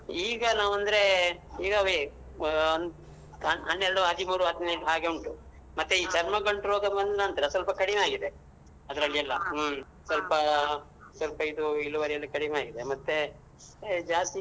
ಈಗ ನಾವ್ ಅಂದ್ರೇ ಈಗ ಅವೇ ಒಂದ್ ಆ ಹನ್ನೆರ್ಡು ಹದ್ಮೂರು ಹದ್ನೆಂಟು ಹಾಗೆ ಉಂಟು ಮತ್ತೇ ಈ ಚರ್ಮ ಗಂಟ್ ರೋಗ ಬಂದ್ನನ್ತ್ರ ಸ್ವಲ್ಪ ಕಡಿಮೆಯಾಗಿದೆ ಅದ್ರಲ್ಲಿ ಎಲ್ಲ ಹ ಸ್ವಲ್ಪ ಇದೂ ಇಳುವರಿಯೆಲ್ಲ ಕಡಿಮೆಯಾಗಿದೆ ಮತ್ತೇ ಆ ಜಾಸ್ತಿ.